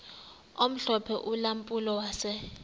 omhlophe ulampulo wase